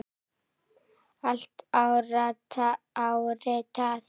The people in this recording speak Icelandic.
Allt áritað.